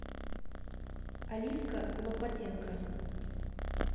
алиска лопатенко